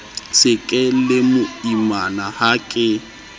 se ke lemoimana ha ke